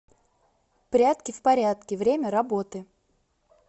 прядки в порядке время работы